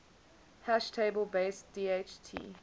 hash table based dht